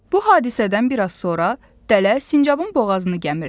Bu hadisədən bir az sonra dələ sincabın boğazını gəmirtdi.